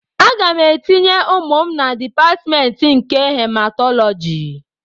Aga m etinye ụmụ m na Dipatmentị nke Hematọlọji